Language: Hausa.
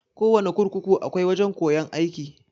Kowana kurkuku akwai wajan koyan aiki.